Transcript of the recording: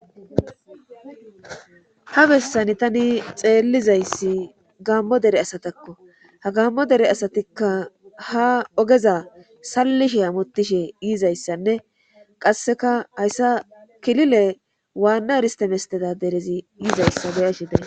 ha bessani tani xeellizayssi gaammo dere asatakko ha gaammo dere asatikka ha ogeza sallishe hamotishe yizayssanne qasseka hayssa kilile waanna heriste mestedadere derezi yizayssa be'ashe daysi